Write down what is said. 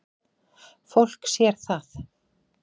Fólk sér það.